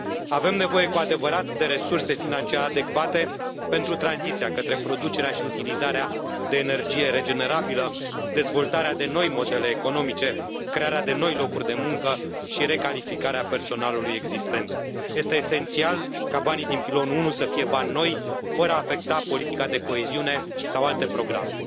Avem nevoie cu adevărat de resurse financiare adecvate pentru tranziția către producerea și utilizarea de energie regenerabilă, dezvoltarea de noi modele economice, crearea de noi locuri de muncă și recalificarea personalului existent. Este esențial ca banii din Pilonul 1 să fie bani noi, fără a afecta Politica de coeziune sau alte programe.